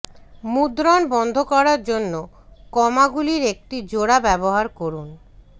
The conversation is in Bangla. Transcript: মুদ্রণ বন্ধ করার জন্য কমাগুলির একটি জোড়া ব্যবহার করুন